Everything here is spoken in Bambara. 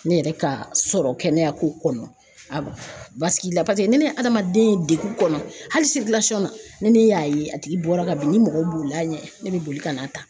Ne yɛrɛ ka sɔrɔ kɛnɛyako kɔnɔ a basigi la paseke ni ne ye hadamaden ye degun kɔnɔ hali ni ne y'a ye a tigi bɔra ka bin ni mɔgɔw bolil'a ɲɛ ne bɛ boli ka n'a ta.